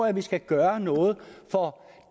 at vi skal gøre noget for